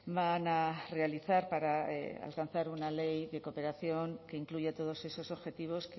van a realizar para alcanzar una ley de cooperación que incluya todos esos objetivos